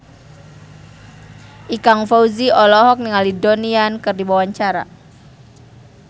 Ikang Fawzi olohok ningali Donnie Yan keur diwawancara